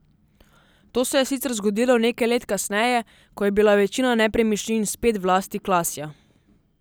To se je sicer zgodilo nekaj let kasneje, ko je bila večina nepremičnin spet v lasti Klasja.